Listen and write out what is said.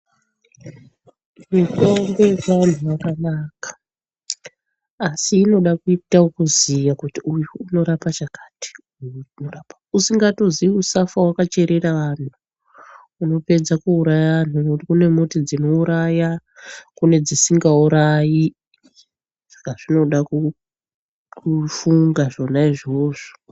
Mitombo yechivantu yakanaka asi inode kuita yekuziva kuti uyu inorapa chakati usingatozivi usafa wakacherera anhu unopedza kuuraya anhu ngokuti kune mbuti inouraya nedzisinga urayi saka zvinoda kufunga zvona izvozvo.